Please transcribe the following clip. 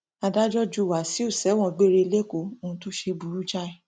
adájọ ju wáṣíù sẹwọn gbére lẹkọọ ohun tó ṣe burú jáì